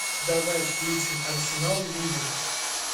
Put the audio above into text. давай включим арсенал ливер